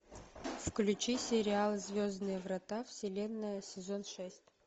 включи сериал звездные врата вселенная сезон шесть